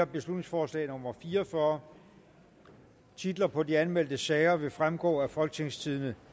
beslutningsforslag nummer b fire og fyrre titler på de anmeldte sager vil fremgå af folketingstidende